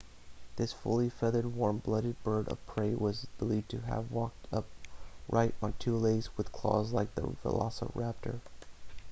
this fully feathered warm blooded bird of prey was believed to have walked upright on two legs with claws like the velociraptor